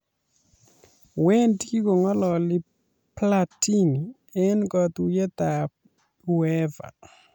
Wendi kong'ololi Platini eng kotuiyetab Uefa